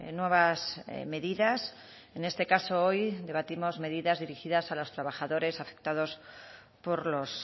nuevas medidas en este caso hoy debatimos medidas dirigidas a los trabajadores afectados por los